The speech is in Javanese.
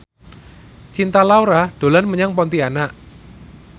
Cinta Laura dolan menyang Pontianak